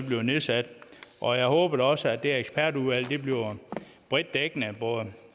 bliver nedsat og jeg håber da også at det ekspertudvalg bliver bredt dækkende og at både